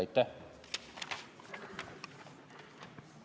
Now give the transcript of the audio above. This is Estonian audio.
Aitäh!